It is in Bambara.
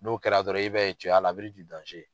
N'o kɛra dɔrɔn i b'a .